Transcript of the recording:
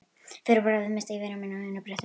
Fyrir bragðið missti ég vini mína á einu bretti.